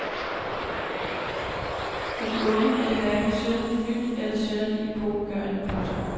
For de unge er det hverken synderligt nyt eller synderligt epokegørende. punktum